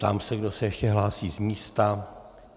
Ptám se, kdo se ještě hlásí z místa.